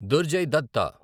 Durjay Datta